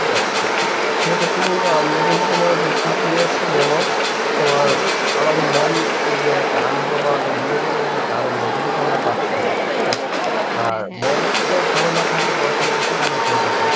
সেক্ষেত্রে কিন্তু আমরা কিন্তু তোমার যে পিছিয়ে যেমন তোমার আমাদের মন যে এক্য়টা আনন্দ পাওয়ার জন্যে বিনোদনের যে একটা আনন্দ এইটা কিন্তু আমরা পাচ্ছিনা হ্যাঁ আর মন যদি ভালো না থাকে তোমার কোনো কিসুই তোমার ভালো থাকে না.